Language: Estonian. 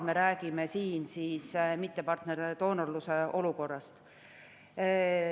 Me räägime siin olukorrast, kus on tegemist mittepartnerist doonoriga.